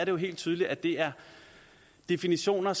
jo helt tydeligt at det er definitioner